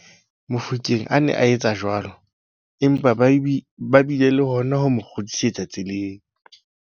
Mofokeng a ne a etsa jwalo, empa ba bile le hona ho mo kgutlisetsa tseleng.